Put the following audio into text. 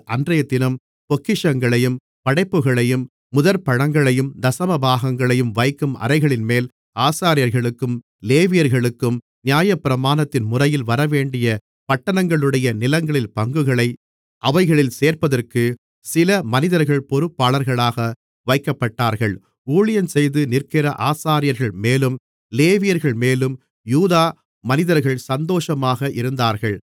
அன்றையதினம் பொக்கிஷங்களையும் படைப்புகளையும் முதற்பழங்களையும் தசமபாகங்களையும் வைக்கும் அறைகளின்மேல் ஆசாரியர்களுக்கும் லேவியர்களுக்கும் நியாயப்பிரமாணத்தின்முறையில் வரவேண்டிய பட்டணங்களுடைய நிலங்களின் பங்குகளை அவைகளில் சேர்ப்பதற்கு சில மனிதர்கள் பொறுப்பாளர்களாக வைக்கப்பட்டார்கள் ஊழியஞ்செய்து நிற்கிற ஆசாரியர்கள்மேலும் லேவியர்கள்மேலும் யூதா மனிதர்கள் சந்தோஷமாக இருந்தார்கள்